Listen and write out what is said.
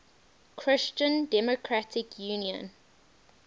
christian democratic union